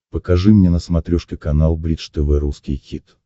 покажи мне на смотрешке канал бридж тв русский хит